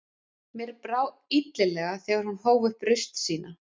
Mér brá illilega þegar hún hóf upp raust sína